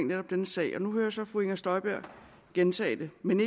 netop denne sag og nu hører jeg så fru inger støjberg gentage det men